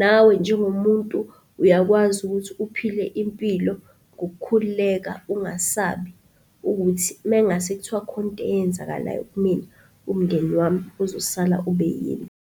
Nawe njengomuntu uyakwazi ukuthi uphile impilo ngokukhululeka, ungasabi ukuthi mengase kuthiwa kukhona into eyenzakalayo kimina, umndeni wami ozosala ube yini.